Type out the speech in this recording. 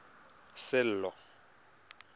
sello